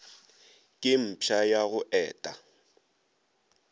ke mpša ya go eta